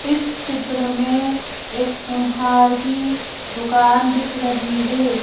इस चित्र में एक सुनहार की दुकान दिख रही है।